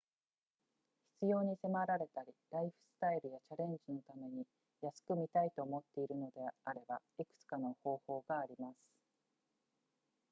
必要に迫られたりライフスタイルやチャレンジのために安く見たいと思っているのであればいくつかの方法があります